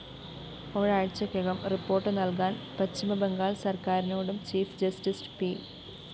ഒരാഴ്ചയ്ക്കകം report നല്‍കാന്‍ പശ്ചിമബംഗാള്‍ സര്‍ക്കാരിനോടും ചീഫ്‌ ജസ്റ്റിസ്‌ പി